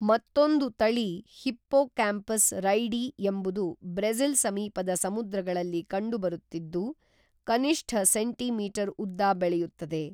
ಮತ್ತೊಂದು ತಳಿ hippocampus reidi ಎಂಬುದು ಬ್ರೆಜಿಲ್ ಸಮೀಪದ ಸಮುದ್ರಗಳಲ್ಲಿ ಕಂಡುಬರುತ್ತಿದ್ದು ಕನಿಷ್ಠ ಸೆಂಟಿ ಮೀಟರ್ ಉದ್ದ ಬೆಳೆಯುತ್ತದೆ